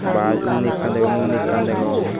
bus uni ekan degong uni ekan degong.